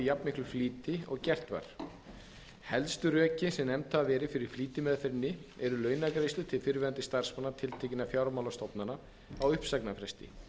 jafnmiklum flýti og gert var helstu rökin sem nefnd hafa verið fyrir flýtimeðferðinni eru launagreiðslur til fyrrverandi starfsmanna tiltekinna fjármálastofnana á uppsagnarfresti